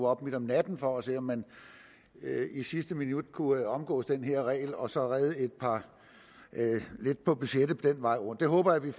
op midt om natten for at se om man i sidste minut kunne omgå den her regel og så redde lidt på budgettet den vej rundt det håber jeg vi